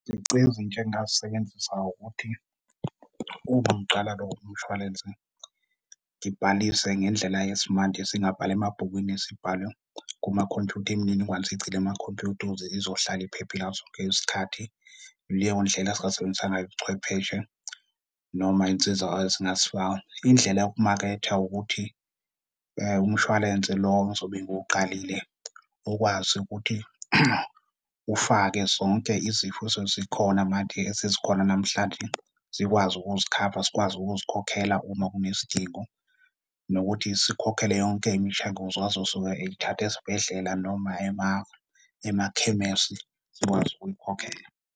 Izici ezintsha engingazisebenzisa ukuthi uma ngiqala lo mshwalense ngibhalise ngendlela yesimanje singabhala emabhukwini sibhale kumakhompyutha imininingwane siyigcine emakhompyutha ukuze izohlala iphephile ngaso sonke isikhathi. Ileyo ndlela esingasebenzisa ngayo ubuchwepheshe, noma insiza esingazifaka indlela yokumaketha ukuthi umshwalense lo ngizobe ngiwuqalile ukwazi ukuthi ufake zonke izifo esezikhona manje esezikhona namhlanje, sikwazi ukuzikhava, sikwazi ukuzikhokhela uma kunesidingo nokuthi sikhokhele yonke imishenguzo azosuke eyithathe esibhedlela noma emakhemesi sikwazi ukuyikhokhela.